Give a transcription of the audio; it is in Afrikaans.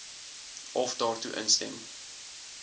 of daartoe instem